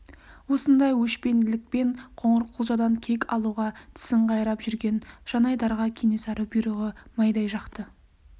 осындай өшпенділікпен қоңырқұлжадан кек алуға тісін қайрап жүрген жанайдарға кенесары бұйрығы майдай жақты